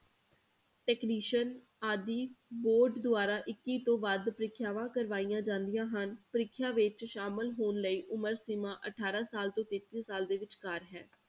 Technician ਆਦਿ board ਦੁਆਰਾ ਇੱਕੀ ਤੋਂ ਵੱਧ ਪ੍ਰੀਖਿਆਵਾਂ ਕਰਵਾਈਆਂ ਜਾਂਦੀਆਂ ਹਨ ਪ੍ਰੀਖਿਆ ਵਿੱਚ ਸ਼ਾਮਲ ਹੋਣ ਲਈ ਉਮਰ ਸੀਮਾ ਅਠਾਰਾਂ ਸਾਲ ਤੋਂ ਤੇਤੀ ਸਾਲ ਦੇ ਵਿਚਕਾਰ ਹੈ।